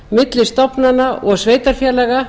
milli stofnana og sveitarfélaga